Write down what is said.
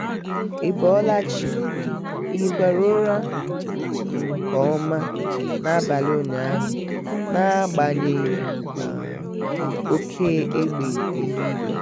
ị bọọla chi? ị hịkwara ụra um nkeọma n'abalị ụnyaahụ n'agbanyeghị um oke égbè eluigwe.